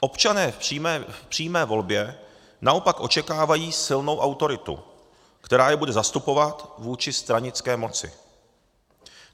Občané v přímé volbě naopak očekávají silnou autoritu, která je bude zastupovat vůči stranické moci.